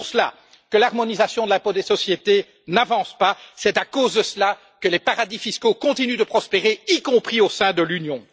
C'est pour cela que l'harmonisation de l'impôt des sociétés n'avance pas, c'est à cause de cela que les paradis fiscaux continuent de prospérer, y compris au sein de l'Union.